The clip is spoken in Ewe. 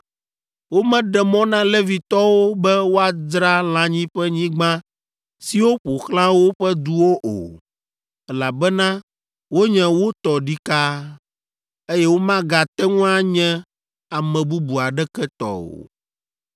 Womeɖe mɔ na Levitɔwo be woadzra lãnyiƒenyigba siwo ƒo xlã woƒe duwo o, elabena wonye wo tɔ ɖikaa, eye womagate ŋu anye ame bubu aɖeke tɔ o.